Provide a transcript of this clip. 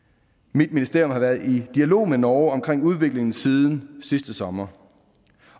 mit ministerium har været i dialog med norge omkring udviklingen siden sidste sommer